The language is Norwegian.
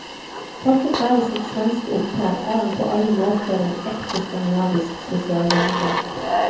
Takket være sitt svenske opphav, er han på alle måter en ekte skandinavisk sosialdemokrat.